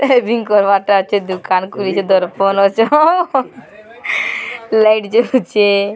shaving କରିବାରଟା ଅଛେ ଦୁକାନ ଖୁଲିଛେ ଦର୍ପଣ ଅଛେ ହଁ ହଁ ଲାଇଟ ଜଳୁଛେ --